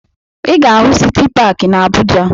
Ị ga-ahụ Siti Paakị na Abuja